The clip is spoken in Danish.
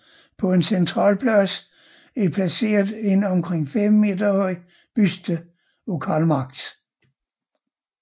På en central plads er placeret en omkring 5 meter høj buste af Karl Marx